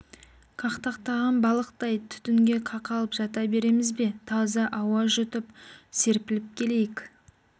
қақтаған балықтай түтінге қақалып жата береміз бе таза ауа жұтып серпіліп келейік